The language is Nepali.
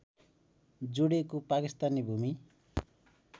जोडिएको पाकिस्तानी भूमि